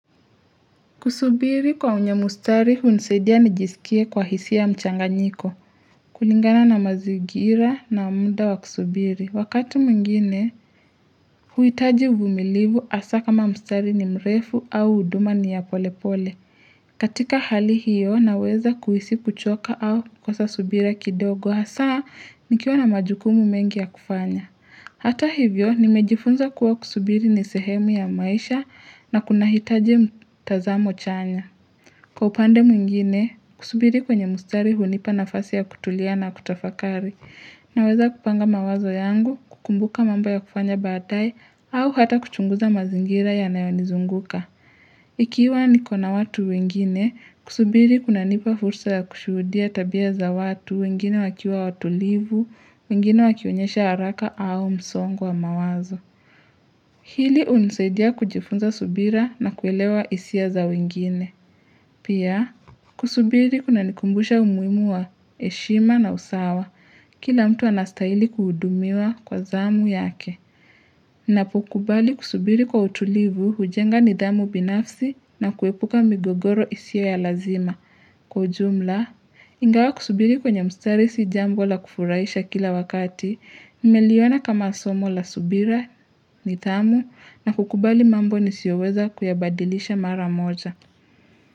Kusubiri kwa wenye mustari hunisadia nijisikie kwa hisi ya mchanga nyiko. Kulingana na mazigira na muda wa kusubiri. Wakatu mwngine, hu hitaji uvumilivu hasa kama mustari ni mrefu au huduma ni ya pole pole. Katika hali hiyo na weza kuhisi kuchoka au kukosa subira kidogo, hasa nikiwa na majukumu mengi ya kufanya. Hata hivyo, nimejifunza kuwa kusubiri ni sehemu ya maisha na kunahitaji mtazamo chanya. Kwa upande mwingine, kusubiri kwenye mustari hunipa na fasi ya kutulia na kutafakari, naweza kupanga mawazo yangu, kukumbuka mamba ya kufanya badae, au hata kuchunguza mazingira yanayonizunguka. Ikiwa nikona watu wengine, kusubiri kuna nipa fursa ya kushudia tabia za watu wengine wakiwa watulivu, wengine wakionyesha haraka au msongu wa mawazo. Hili unisaidia kujifunza subira na kuelewa hisia za wengine. Pia, kusubiri kuna nikumbusha umuhimu wa heshima na usawa. Kila mtu anastahili kuhudumiwa kwa zamu yake. Napo kubali kusubiri kwa utulivu, hujenga nidhamu binafsi na kuepuka migogoro isiyo ya lazima. Kwa jumla, ingawa kusubiri kwenye mstari sijambo la kufuraisha kila wakati, nimeliona kama somo la subira, nidhamu, na kukubali mambo nisioweza kuyabadilisha mara moja.